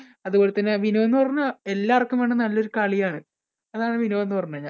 അതുപോലെതന്നെ വിനോദം എന്ന് പറഞ്ഞാൽ എല്ലാവർക്കും വേണ്ട നല്ലൊരു കളിയാണ്. അതാണ് വിനോദം എന്ന് പറഞ്ഞു കഴിഞ്ഞാല്‍.